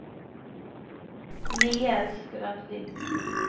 Niels Grønli